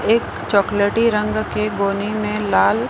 एक चॉकलेटी रंग के गोनी में लाल--